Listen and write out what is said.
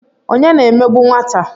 Onye na-emegbu nwata?